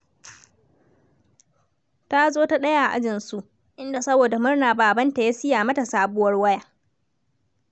Ta zo ta ɗaya a ajinsu, inda saboda murna babanta ya siya mata sabuwar waya.